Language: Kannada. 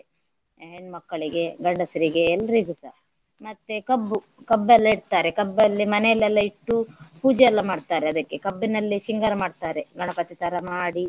ಹೆಣ್ಮಕ್ಕಳಿಗೆ ಗಂಡಸರಿಗೆ ಎಲ್ರಿಗೂಸ. ಮತ್ತೆ ಕಬ್ಬು ಕಬ್ಬೆಲ್ಲ ಇಡ್ತಾರೆ. ಕಬ್ಬಲ್ಲಿ ಮನೆಯಲ್ಲೆಲ್ಲ ಇಟ್ಟು ಪೂಜೆ ಎಲ್ಲಾ ಮಾಡ್ತಾರೆ ಅದಕ್ಕೆ ಕಬ್ಬಿನಲ್ಲೇ ಶೃಂಗಾರ ಮಾಡ್ತಾರೆ ಗಣಪತಿ ತರ ಮಾಡಿ